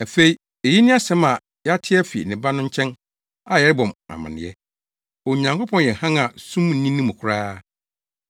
Afei, eyi ne asɛm a yɛate afi ne Ba no nkyɛn a yɛrebɔ mo amanneɛ. Onyankopɔn yɛ hann a sum nni ne mu koraa.